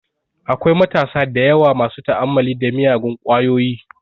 Akwai matasa dayawa masu ta'ammali da miyagun kwayoyi